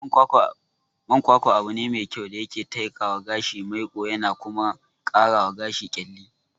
Man kwakwa abune me kyau da yake taikawa gashi maiƙo yana kuma karawa gashi ƙyalli.